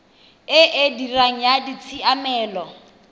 e e dirang ya ditshiamelo